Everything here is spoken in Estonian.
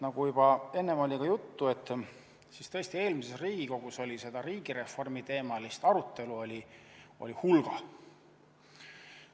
Nagu juba enne juttu oli, eelmises Riigikogus oli seda riigireformiteemalist arutelu hulgem.